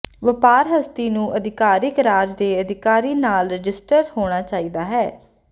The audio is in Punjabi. ਵਪਾਰ ਹਸਤੀ ਨੂੰ ਅਧਿਕਾਰਿਕ ਰਾਜ ਦੇ ਅਧਿਕਾਰੀ ਨਾਲ ਰਜਿਸਟਰ ਹੋਣਾ ਚਾਹੀਦਾ ਹੈ